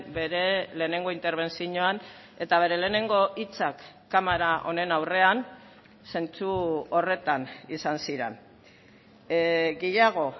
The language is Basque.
bere lehenengo interbentzioan eta bere lehenengo hitzak kamara honen aurrean zentzu horretan izan ziren gehiago